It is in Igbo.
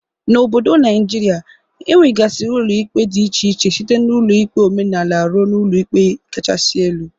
N'obodo Naijiria, enwegasiri ụlọ ikpe dị iche iche site n'ụlọ ikpe omenala rue ụlọ ikpe kachasi elu.